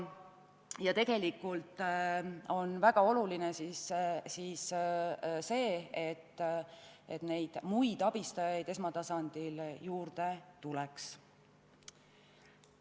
Ja tegelikult on väga oluline see, et neid muid abistajaid esmatasandil juurde tuleks.